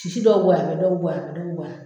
Sisi dɔw bɛ bɔ yan, dɔw bɛ bɔ yan, dɔw bɛ bɔ yan.